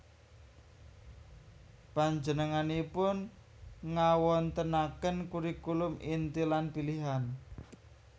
Panjenenganipun ngawontenaken kurikulum inti lan pilian